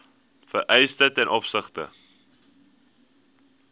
vereistes ten opsigte